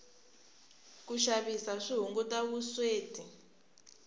ku xavisa swi hunguta vusweti